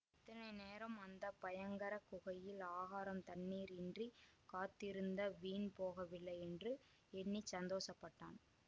இத்தனை நேரம் அந்த பயங்கர குகையில் ஆகாரம் தண்ணீர் இன்றி காத்திருந்த வீண் போகவில்லை என்று எண்ணி சந்தோஷப்பட்டான்